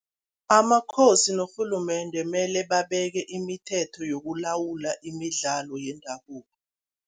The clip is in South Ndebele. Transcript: AmaKhosi norhulumende mele babeke imithetho yokulawula imidlalo yendabuko.